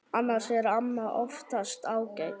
Annars er amma oftast ágæt.